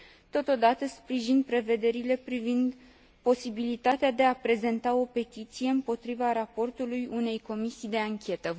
Totodată, sprijin prevederile privind posibilitatea de a prezenta o petiție împotriva raportului unei comisii de anchetă.